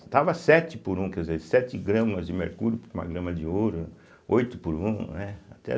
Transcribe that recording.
Estava sete por um, quer dizer, sete gramas de mercúrio por uma grama de ouro, né, oito por um, né? até